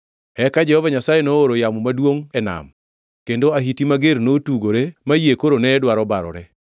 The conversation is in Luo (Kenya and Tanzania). Eka Jehova Nyasaye nooro yamo maduongʼ e nam, kendo ahiti mager notugore ma yie koro ne dwaro barore.